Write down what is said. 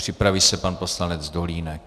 Připraví se pan poslanec Dolínek.